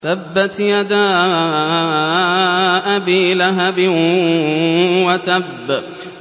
تَبَّتْ يَدَا أَبِي لَهَبٍ وَتَبَّ